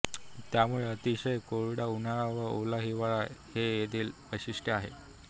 त्यामुळे अतिशय कोरडा उन्हाळा व ओला हिवाळा हे येथील वैशिट्य आहे